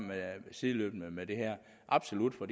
med sideløbende med det her absolut for